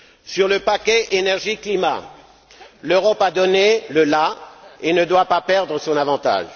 Sur le paquet énergie climat, l'Europe a donné le la et ne doit pas perdre son avantage.